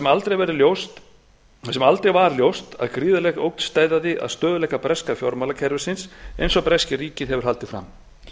og löglegar þar sem aldrei var ljóst að gríðarleg ógn steðjaði að stöðugleika breska fjármálakerfisins eins og breska ríkið hefur haldið fram